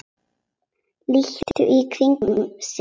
Lítur í kringum sig.